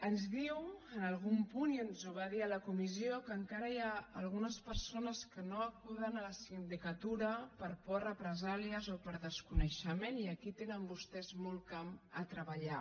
ens diu en algun punt i ens ho va dir a la comissió que encara hi ha algunes persones que no acuden a la sindicatura per por a represàlies i per desconeixement i aquí tenen vostès molt camp a treballar